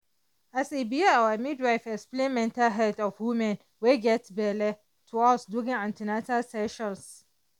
as e be our midwife explain mental health of woman wey get belle to us during an ten atal sessions